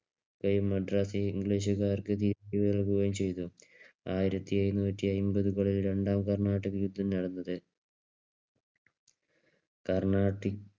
മദ്രാസ് ഇംഗ്ലീഷുകാർക്ക് തിരിച്ചു നൽകുകയും ചെയ്തു. ആയിരത്തിഎഴുനൂറ്റിഅമ്പതുകളിലാണ് രണ്ടാം കർണാട്ടിക് യുദ്ധം നടന്നത്. കർണാട്ടിക്